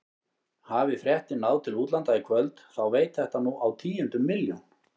Hafi fréttin náð til útlanda í kvöld þá veit þetta nú á tíundu milljón.